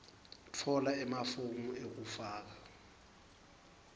tfola emafomu ekufaka